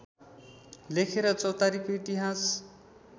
लेखेर चौतारीको इतिहास